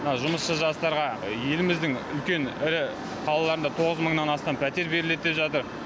жұмысшы жастарға еліміздің үлкен ірі қалаларында тоғыз мыңнан астам пәтер беріледі деп жатыр